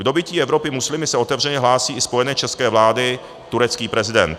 K dobytí Evropy muslimy se otevřeně hlásí i spojenec české vlády, turecký prezident.